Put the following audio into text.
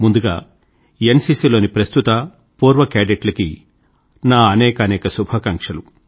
ముందుగా ఎన్సీసీ లోని ప్రస్తుత పూర్వ కేడేట్లకి నా అనేకానేక శుభాకాంక్షలు